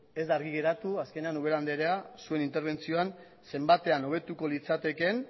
ez da argi geratu azkenean ubera andrea zuen interbentzioan zenbatean hobetuko litzatekeen